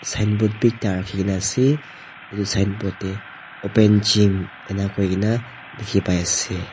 sign board b ekta raki kina ase etu sign board de open gym ena kuri kina diki pai ase.